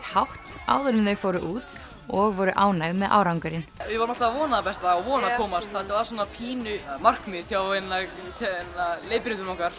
hátt áður en þau fóru út og voru ánægð með árangurinn við vorum alltaf að vona það besta og vona að komast þetta var pínu markmið hjá leiðbeinendum okkar